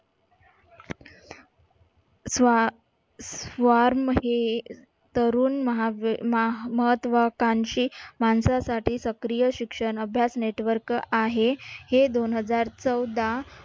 स्व स्वार्म हे तरुण महत्वाकांशी माणसासाठी सक्रिय शिक्षण अभ्यास network आहे. हे दोनहजार चौदा